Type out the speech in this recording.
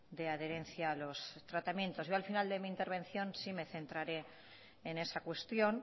de adherencia a los tratamientos al final de mi intervención sí me centraré en esa cuestión